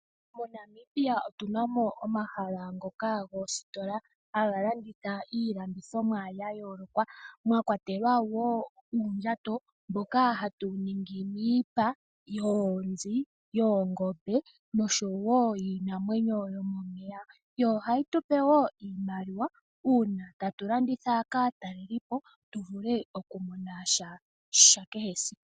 MoNamibia otu na mo omahala ngoka goositola haga landitha iilandithomwa ya yooloka, mwa kwatelwa woo uundjato mboka ha ltu ningi miipa yoonzi, yoongombe nosho woo yiinamwenyo yomomeya .Yo ohayi tu pe woo iimaliwa uuna tatu landitha kaatalelipo tu vule okumona sha kehesiku .